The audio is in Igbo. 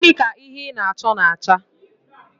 Gịnị ka ihe ị na-achọ na-acha?